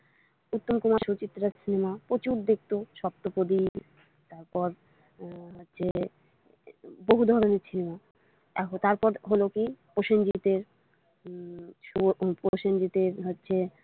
উত্তম কুমার সুচিত্রার cinema প্রচুর দেখতো সপ্তপ্রদীপ তারপর হচ্ছে বহু ধরনের cinema তারপর হলো কি প্রসেঞ্জিতের উম প্রসেঞ্জিতের হচ্ছে।